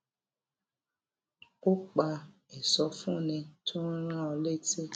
ó pa ìsọfúnni tó ń rán an létí